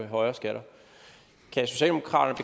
højere skatter kan socialdemokraterne